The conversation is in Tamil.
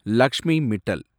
லக்ஷ்மி மிட்டல்